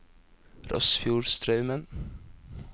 Rossfjordstraumen